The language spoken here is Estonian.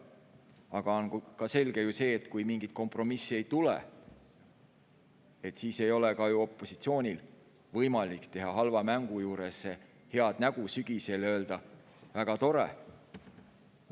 Aga selge on ju see, et kui mingit kompromissi ei tule, siis ei ole ka opositsioonil võimalik teha halva mängu juures head nägu ja sügisel öelda: "Väga tore!